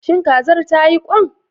Shin kazar tayi ƙwan?